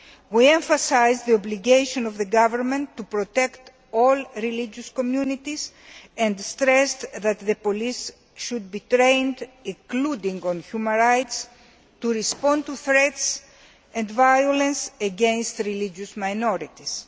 We emphasised the government's obligation to protect all religious communities and stressed that the police should be trained, including on human rights, to respond to threats and violence against religious minorities.